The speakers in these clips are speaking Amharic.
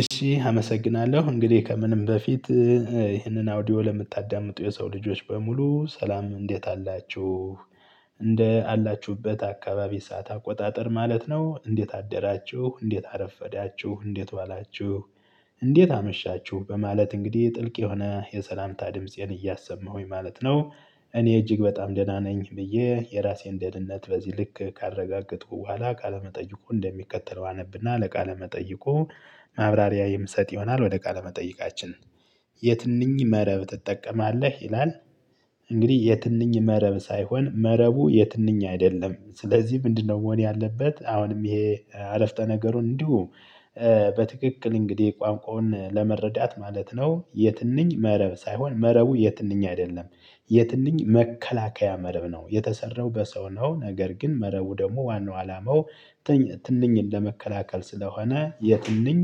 እሺ አመሰግናለሁ እንግዲህ ከምንም በፊት ይህንን አውዲዮ ለምታዳምጡ የሰው ልጆች በሙሉ ሰላም እንዴት አላችሁ። እንደ አላችሁበት አካባቢ ሰዓት አቆጣጠር ማለት ነው እንዴት አደራችሁ እንዴት አረፈዳችሁ እንዴት ዋላችሁ። እንዴት አመሻችሁ በማለት እንግዲህ ጥልቅ የሆነ የሰላምታ ድምፄን እያሰማሁኝ ማለት ነው። እኔ እጅግ በጣም ደህና ነኝ ብዬ የራሴን ደህንነት በዚህ ልክ ካረጋገጡ በኋላ ቃለ መጠይቁ እንደሚከተለው አነብና ለቃለ መጠይቁ ማብራሪያ የምሰጥ ይሆናል። ወደ ቃለ መጠይቃችን። የትንኝ መረብ ትጠቀማለህ ይላል? እንግዲህ የትንኝ መረብ ሳይሆን መረቡ የትንኝ አይደለም ስለዚህ ምንድነው መሆን ያለበት አሁንም ይሄ አረፍተ ነገሩን እንዲሁ? በትክክል እንግዲህ ቋንቋውን ለመረዳት ማለት ነው። የትንኝ መረብ ሳይሆን መረቡ የትንኝ አይደለም የትንኝ መከላከያ መረብ ነው የተሰራው በሰው ነው። ነገር ግን መረቡ ደግሞ ዋናው አላማው። ትንኝ ለመከላከል ስለሆነ የትንኝ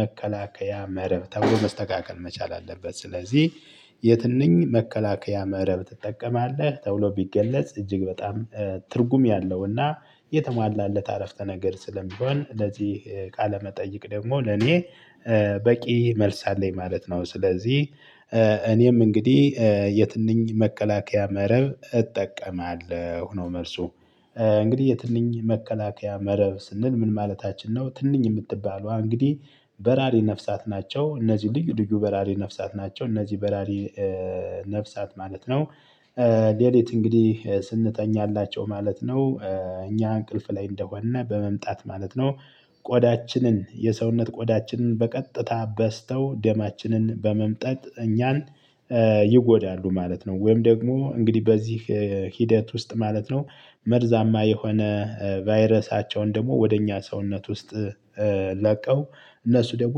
መከላከያ መረብ ተብሎ መስተካከል መቻል አለበት። ስለዚህ የትንኝ መከላከያ መረብ ትጠቀማለህ ተብሎ ቢገለጽ እጅግ በጣም ትርጉም ያለውና የተሟላለት አረፍተ ነገር ስለሚሆን ለዚህ ቃለመጠይቅ ደግሞ ለኔ በቂ መልስ አለኝ ማለት ነው። ስለዚህ እኔም እንግዲህ የትንኝ መከላከያ መረብ እጠቀማለሁ ነው መልሱ። እንግዲህ የትንኝ መከላከያ መረብ ስንል ምን ማለታችን ነው? ትንኝ የምትባለዋ እንግዲህ በራሪ ነፍሳት ናቸው እነዚህ ልዩ ልዩ በራሪ ነፍሳት ናቸው እነዚህ በራሪ ነፍሳት ማለት ነው። ሌሊት እንግዲህ ስንተኛላቸው ማለት ነው እኛ እንቅልፍ ላይ እንደሆን በመምጣት ማለት ነው። የሰውነት ቆዳችንን በቀጥታ በስተው ደማችንን በመምጠት እኛን ይጎዳሉ ማለት ነው። ወይም ደግሞ እንግዲህ በዚህ ሂደት ውስጥ ማለት ነው መርዛማ የሆነ ቫይረሳቸውን ደግሞ ወደ እኛ ሰውነት ውስጥ ለቀው እነሱ ደግሞ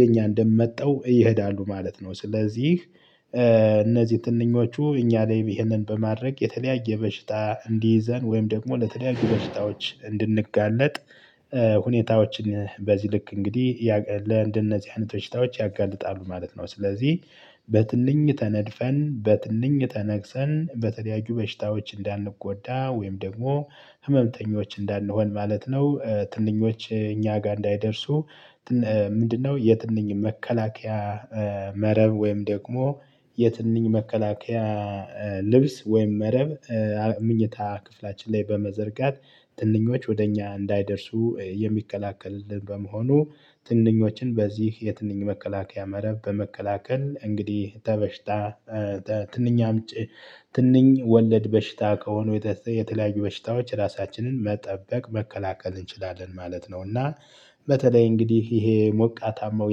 የእኛን ደም መጥተው ይሄዳሉ ማለት ነው። ስለዚህ እነዚህ ትንኞቹ እኛ ላይ ይሄንን በማድረግ የተለያየ በሽታ እንዲይዘን ወይም ደግሞ ለተለያዩ በሽታዎች እንድንጋለጥ ሁኔታዎችን በዚህ ልክ እንግዲህ ለእንደነዚህ አይነት በሽታዎች ያጋልጣሉ ማለት ነው። ስለዚህ በትንኝ ተነድፈን በትንኝ ተነግሰን በተለያዩ በሽታዎች እንዳንጎዳ ወይም ደግሞ ህመምተኞች እንዳንሆን ማለት ነው። ትንኞች እኛ ጋር እንዳይደርሱ። ምንድነው? የትንኝ መከላከያ መረብ ወይም ደግሞ የትንኝ መከላከያ ልብስ ወይም መረብ ምኝታ ክፍላችን ላይ በመዘርጋት ትንኞች ወደ እኛ እንዳይደርሱ የሚከላከልልን በመሆኑ ትንኞችን በዚህ የትንኝ መከላከያ መረብ በመከላከል እንግዲህ ተበሽታ ትንኝ አምጪ ትንኝ ወለድ በሽታ ከሆኑ የተለያዩ በሽታዎች ራሳችንን መጠበቅ መከላከል እንችላለን ማለት ነው። እና በተለይ እንግዲህ ይሄ ሞቃታማው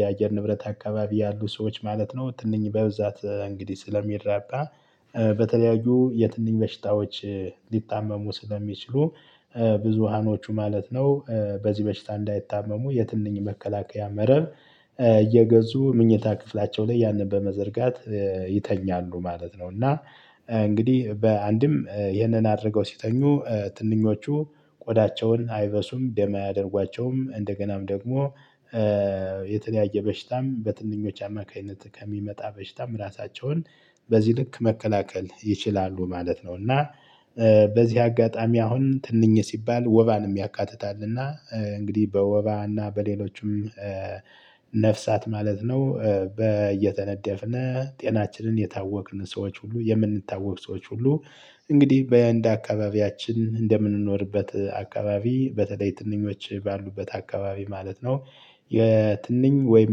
የአየር ንብረት አካባቢ ያሉ ሰዎች ማለት ነው ትንኝ በብዛት እንግዲህ ስለሚራባ። በተለያዩ የትንኝ በሽታዎች ሊታመሙ ስለሚችሉ። ብዙሃኖቹ ማለት ነው በዚህ በሽታ እንዳይታመሙ የትንኝ መከላከያ መረብ እየገዙ ምኝታ ክፍላቸው ላይ ያንን በመዘርጋት ይተኛሉ ማለት ነው። እና እንግዲህ በአንድም ይህንን አድርገው ሲተኙ ትንኞቹ ቆዳቸውን አይበሱም ደም አያደርጓቸውም እንደገናም ደግሞ የተለያየ በሽታም በትንኞች አማካኝነት ከሚመጣ በሽታም ራሳቸውን በዚህ ልክ መከላከል ይችላሉ ማለት ነው። እና በዚህ አጋጣሚ አሁን ትንኝ ሲባል ወባንም ያካትታል እና እንግዲህ በወባና በሌሎችም ነፍሳት ማለት ነው በየተነደፍን ጤናችንን የታወክን ሰዎች ሁሉ የምንታወክ ሰዎች ሁሉ እንግዲህ በእንድ አካባቢያችን እንደምንኖርበት አካባቢ በተለይ ትንኞች ባሉበት አካባቢ ማለት ነው። የትንኝ ወይም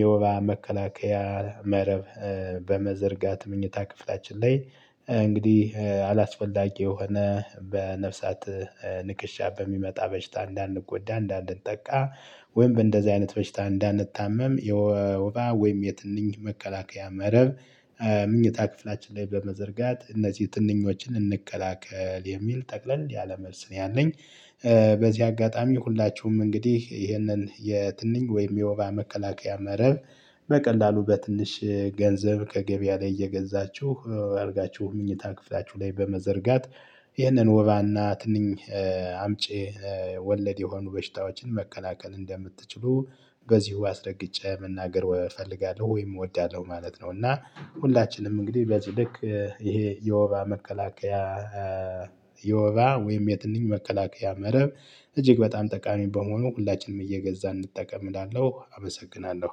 የወባ መከላከያ መረብ በመዘርጋት ምኝታ ክፍላችን ላይ እንግዲህ አላስፈላጊ የሆነ በነፍሳት ንክሻ በሚመጣ በሽታ እንዳንጎዳ እንዳንጠቃ ወይም በእንደዚህ አይነት በሽታ እንዳንታመም የወባ ወይም የትንኝ መከላከያ መረብ ምኝታ ክፍላችን ላይ በመዘርጋት እነዚህ ትንኞችን እንከላከል የሚል ጠቅለል ያለ መልስ ነው ያለኝ። በዚህ አጋጣሚ ሁላችሁም እንግዲህ ይህንን የትንኝ ወይም የወባ መከላከያ መረብ በቀላሉ በትንሽ ገንዘብ ከገበያ ላይ እየገዛችሁ አድርጋችሁ ምኝታ ክፍላችሁ ላይ በመዘርጋት ይሄንኑ ወባና ትንኝ አምጪ ወለድ የሆኑ በሽታዎችን መከላከል እንደምትችሉ በዚህ አስረግጬ መናገር እፈልጋለሁ ወይም እወዳለሁ ማለት ነው። እና ሁላችንም እንግዲህ በዚህ ልክ ይሄ የወባ መከላከያ የወባ ወይም የትንኝ መከላከያ መረብ እጅግ በጣም ጠቃሚ በመሆኑ ሁላችንም እየገዛን እንጠቀም እላለሁ አመሰግናለሁ።